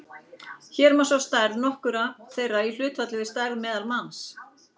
Hér má sjá stærð nokkurra þeirra í hlutfalli við stærð meðalmanns.